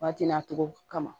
Waati nacogo kama